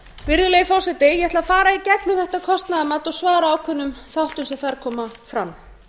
virðulegi forseti ég ætla að fara í gegnum þetta kostnaðarmat og svara ákveðnum þáttum sem þar koma fram